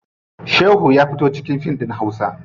Shehu ya fito a cikin fim ɗin hausa.